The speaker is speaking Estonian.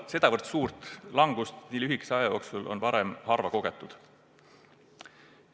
Sedavõrd suurt langust nii lühikese aja jooksul on varem kogetud harva.